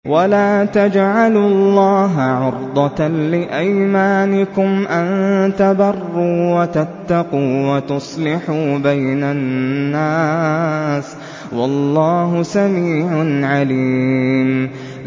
وَلَا تَجْعَلُوا اللَّهَ عُرْضَةً لِّأَيْمَانِكُمْ أَن تَبَرُّوا وَتَتَّقُوا وَتُصْلِحُوا بَيْنَ النَّاسِ ۗ وَاللَّهُ سَمِيعٌ عَلِيمٌ